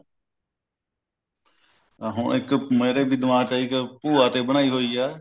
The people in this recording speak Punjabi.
ਅਹ ਹੁਣ ਇੱਕ ਮੇਰੇ ਵੀ ਦਿਮਾਗ ਚ ਆਈ ਇੱਕ ਭੂਆ ਤੇ ਬਣਾਈ ਹੋਈ ਹੈ